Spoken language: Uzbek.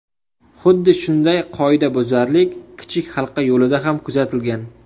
Xuddi shunday qoidabuzarlik kichik halqa yo‘lida ham kuzatilgan.